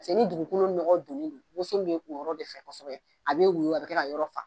ni dugukolo nɔgɔ donnen don bɛ kun o yɔrɔ de fɛ kosɛbɛ a bɛ woyo a bɛ kɛ ka yɔrɔ fa